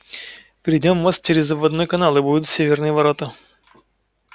перейдём мост через обводной канал и будут северные ворота